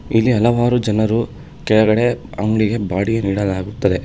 ಇಲ್ಲಿ ಹಲವಾರು ಜನರು ಕೆಳಗಡೆ ಅಂಗಡಿಗೆ ಬಾಡಿಗೆ ನೀಡಲಾಗುತ್ತದೆ.